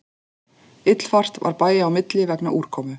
Illfært var bæja á milli vegna úrkomu